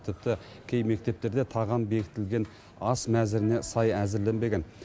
тіпті кей мектептерде тағам бекітілген ас мәзіріне сай әзірленбеген